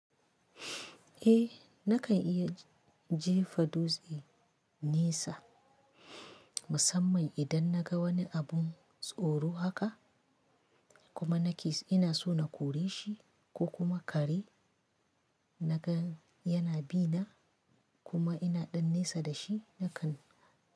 Eh nakan iya jefa dutse nesa musamman idan naga wani abun tsoro haka kuma nake ina so na kore shi ko kuma kare naga yana bina kuma ina ɗan nesa da shi nakan.